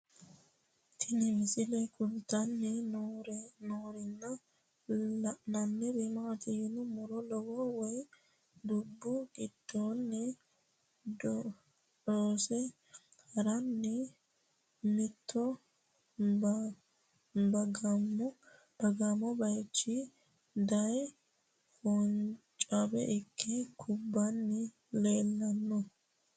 Tinni misile kulittanni noorrinna la'nanniri maattiya yinummoro lowo wayi dubbu gidoonni dhoosse haranni mitto bagaammo bayiichcho daye foonichcho ikke kubbanni leelanno